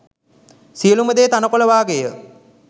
සියලුම දේ තණකොළ වාගේය.